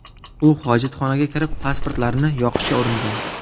U hojatxonaga kirib pasportlarni yoqishga uringan.